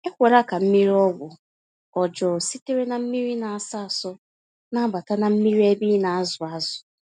Ekwela ka mmiri-ọgwụ ọjọ sitere na mmírí na-asọ asọ, nabata na mmiri ébé ịnazụ ázụ̀